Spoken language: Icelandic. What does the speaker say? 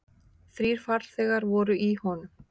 Þrír farþegar voru í honum.